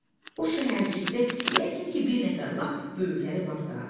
O şəhərcikdə yəqin ki bir nəfər lap böyükləri var da.